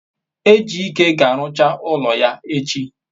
ejike ga-arucha ulo ya echi